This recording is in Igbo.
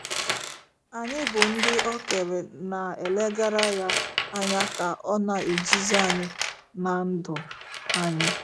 Anyị bụ́ ndị o kere na - elegara ya anya ka ọ na - eduzi anyị na ndụ anyị